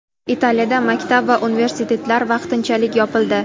Italiyada maktab va universitetlar vaqtinchalik yopildi.